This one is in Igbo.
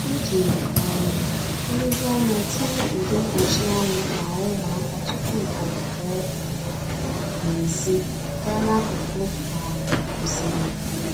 O jiri um nlezianya tinye ude mkpuchi anwụ n'ahụ ụmụaka tupu ọ pụọ n'èzí gaa n'akụkụ um osimiri.